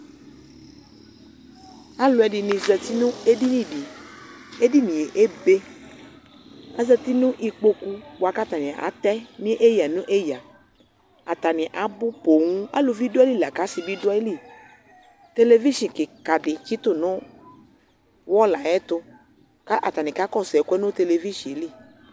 aloɛdini zati no edini di edinie ebe azati no ikpoku boa k'atani atɛ no eya no eya atani abò ponŋ aluvi do ayili lako asi bi do ayili televishn keka di tsito no wɔl ayɛto k'atani kakɔsu ɛoɛ no televishn li